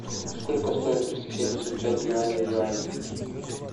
сколько стоит триста семьдесят пять юаней в юани